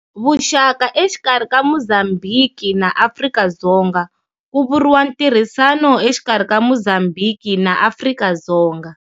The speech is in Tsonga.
Vuxaka exikarhi ka Mozambhiki na Afrika-Dzonga ku vuriwa ntirhisano exikarhi ka Mozambhiki na Afrika-Dzonga.